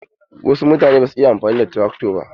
Wasu mutane basu iya amfani da trakto ba.